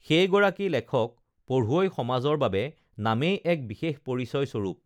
সেই গৰাকী লেখক পঢ়ুৱৈ সমাজৰ বাবে নামেই এক বিশেষ পৰিচয় স্বৰূপ